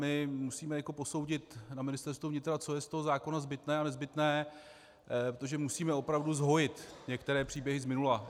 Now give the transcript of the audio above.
My musíme teď posoudit na Ministerstvu vnitra, co je z toho zákona zbytné a nezbytné, protože musíme opravdu zhojit některé příběhy z minula.